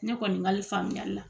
Ne kɔni kali faamuyali la.